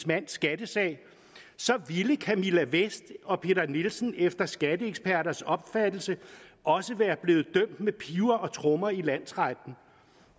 mands skattesag ville camilla vest og peter nielsen efter skatteeksperters opfattelse også være blevet dømt med piber og trommer i landsretten